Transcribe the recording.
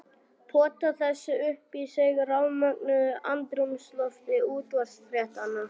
Pota þessu upp í sig í rafmögnuðu andrúmslofti útvarpsfréttanna.